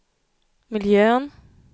miljön